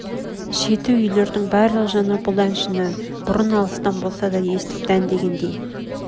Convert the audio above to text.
шеті үйлердің барлық жаны бұл әншін бұрын алыстан болса да естіп дәндегендей